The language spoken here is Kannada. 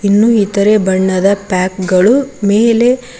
ಇನ್ನು ಇತರೆ ಬಣ್ಣದ ಪ್ಯಾಕ್ ಗಳು ಮೇಲೆ--